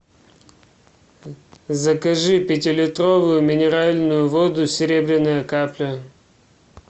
закажи пятилитровую минеральную воду серебряная капля